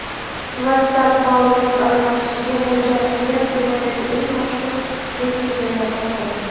WhatsApp ma’lumot almashishga mo‘ljallangan dunyodagi eng mashhur messenjerlardan biri.